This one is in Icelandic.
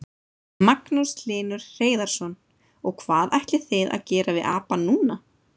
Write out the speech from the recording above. Magnús Hlynur Hreiðarsson: Og hvað ætlið þið að gera við apann núna?